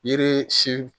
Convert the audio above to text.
Yiri si